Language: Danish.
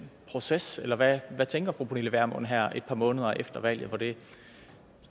proces eller hvad tænker fru pernille vermund her et par måneder efter valget hvor det